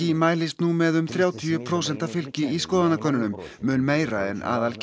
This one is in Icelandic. mælist nú með um þrjátíu prósenta fylgi í skoðanakönnunum mun meira en